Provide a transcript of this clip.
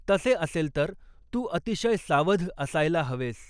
तसे असेल तर तू अतिशय सावध असायला हवेस.